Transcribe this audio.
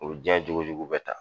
O diɲɛ jogojugu bɛɛ ta